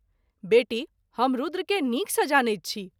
बेटी ! हम रूद्र के नीक सँ जानैत छी।